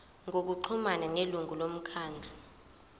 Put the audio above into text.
ngokuxhumana nelungu lomkhandlu